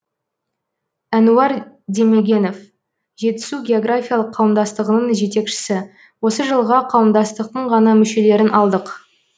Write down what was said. әнуар демегенов жетісу географиялық қауымдастығының жетекшісі осы жылға қауымдастықтың ғана мүшелерін алдық